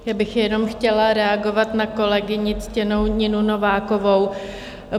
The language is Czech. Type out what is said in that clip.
Já bych jenom chtěla reagovat na kolegyni, ctěnou Ninu Novákovou.